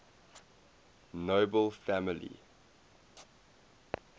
nobel family